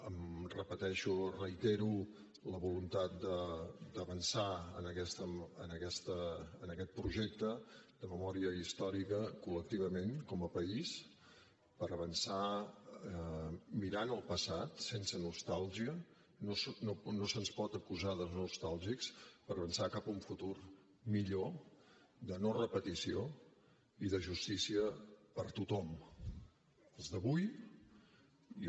em repeteixo reitero la voluntat d’avançar en aquest projecte de memòria històrica col·lectivament com a país per avançar mirant el passat sense nostàlgia no se’ns pot acusar de nostàlgics per avançar cap a un futur millor de no repetició i de justícia per a tothom als d’avui i als que malauradament ja no hi són